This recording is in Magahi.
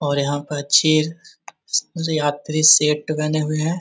और यहाँ पर यात्री सेठ बने हुए हैं |